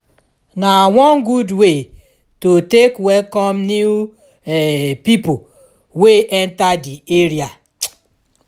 na one gud way to take welcom new um pipo wey enta di area um